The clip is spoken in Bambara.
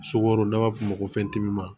Sukaro n'a b'a f'o ma